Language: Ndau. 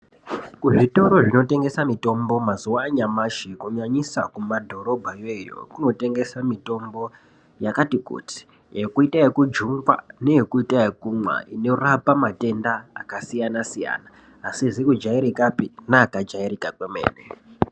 Kuzvitoro zvinotengesa mitombo mazuva anyamashi kunyanyisa kumadhorobha ikweyo kunotengeswa mitombo yakati kuti yekuita yekudyungwa neye kuita yekumwa inorapa matenda akasiyana siyana asizi kujairikapi neakajairika kwemene.